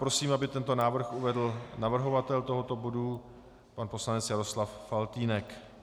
Prosím, aby tento návrh uvedl navrhovatel tohoto bodu pan poslanec Jaroslav Faltýnek.